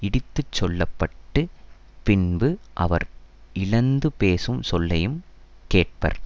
இடித்துச் சொல்ல பட்டு பின்பு அவர் இழந்து பேசும் சொல்லையும் கேட்பர்